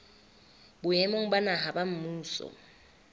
boemong ba naha ba mmuso